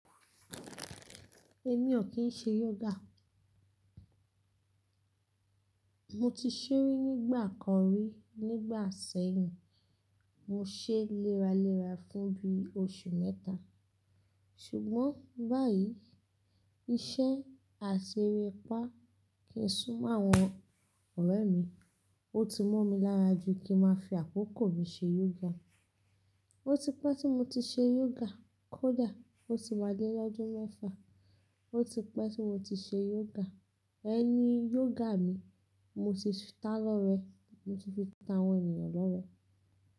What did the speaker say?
Èmi ò kín ṣe yoga. Mo ti ṣee ri nígbà kan rí nígbà sẹ́yìn. Mo ṣe léraléra fún bí oṣù mẹ́ta. Ṣùgbọ́n báyìí iṣẹ́ àṣeré pa kí n sún mọ́ àwọn ọ̀rẹ́ mi. Ó ti mọ́ mi lára ju kí n máa fi àkókò mi ṣe yoga. Ó ti pẹ́ tí mo ti ṣe yoga. Kódà ó ti wá dé ọdún mẹ́fa. Ó ti pẹ́ tí mo ti ṣe yoga. Ẹni yoga mi, mo ti ta lọ́rẹẹ́, mo ti fi ta àwọn ènìyàn lọ́rẹẹ́.